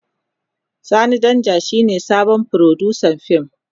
Sani Danja shine sabon furodusan fim.